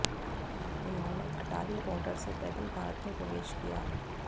उन्होंने अटारी बॉर्डर से पैदल भारत में प्रवेश किया